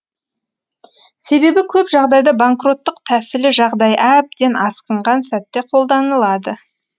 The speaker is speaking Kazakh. себебі көп жағдайда банкроттық тәсілі жағдай әбден асқынған сәтте қолданылады